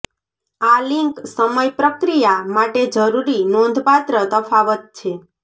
આ લિંક સમય પ્રક્રિયા માટે જરૂરી નોંધપાત્ર તફાવત છે